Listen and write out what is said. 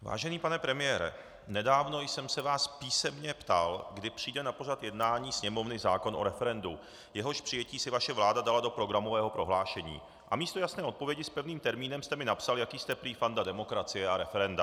Vážený pane premiére, nedávno jsem se vás písemně ptal, kdy přijde na pořad jednání Sněmovny zákon o referendu, jehož přijetí si vaše vláda dala do programového prohlášení, a místo jasné odpovědi s pevným termínem jste mi napsal, jaký jste prý fanda demokracie a referenda.